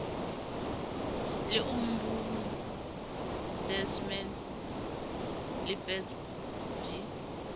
le ombudsman le fsb di